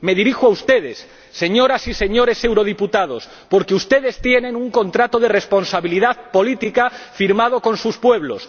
Me dirijo a ustedes, señoras y señores diputados al Parlamento Europeo, porque ustedes tienen un contrato de responsabilidad política firmado con sus pueblos.